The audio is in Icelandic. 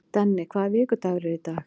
Denni, hvaða vikudagur er í dag?